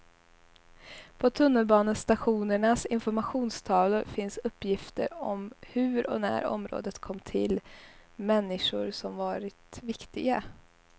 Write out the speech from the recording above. På tunnelbanestationernas informationstavlor finns uppgifter om hur och när området kom till, människor som varit viktiga.